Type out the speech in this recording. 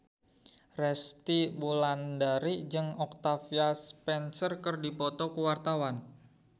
Resty Wulandari jeung Octavia Spencer keur dipoto ku wartawan